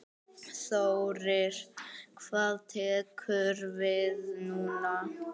Þórir: Hvað tekur við núna?